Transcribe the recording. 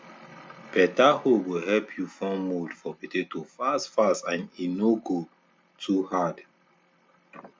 beta hoe go help you form mould for potato fast fast and e no no go too hard